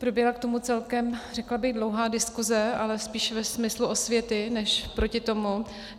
Proběhla k tomu celkem, řekla bych, dlouhá diskuse, ale spíše ve smyslu osvěty než proti tomu.